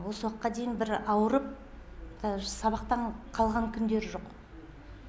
осы уақытқа дейін бір ауырып даже сабақтан қалған күндері жоқ